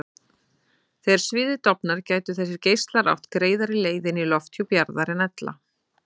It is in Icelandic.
Þegar sviðið dofnar gætu þessir geislar átt greiðari leið inn í lofthjúp jarðar en ella.